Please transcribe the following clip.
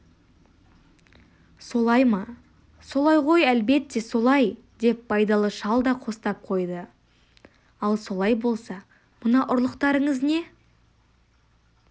солай ма солай ғой әлбетте солай деп байдалы шал да қостап қойды ал солай болса мына ұрлықтарыңыз не